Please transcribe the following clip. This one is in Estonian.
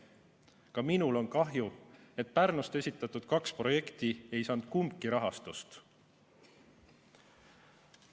Ka minul on kahju, et Pärnust esitatud kaks projekti kumbki rahastust ei saanud.